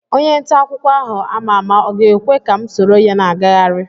Onye nta akwụkwọ ahụ ama ama ọ ga-ekwe ka m soro ya na-agagharị?